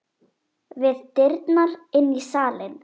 Við dyrnar inn í salinn.